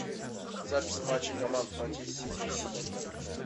запись матча команд манчестер сити и сити